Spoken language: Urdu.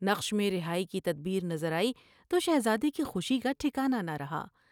نقش میں رہائی کی تدبیر نظر آئی تو شہزادے کی خوشی کا ٹھکانا نہ رہا ۔